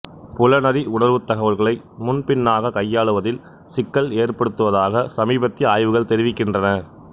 புலனறி உணர்வுத் தகவல்களை முன் பின்னாக கையாளுவதில் சிக்கல் ஏற்படுத்துவதாக சமீபத்திய ஆய்வுகள் தெரிவிக்கின்றன